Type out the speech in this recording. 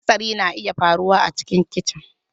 Hatsari na iya faruwa a cikin kicin.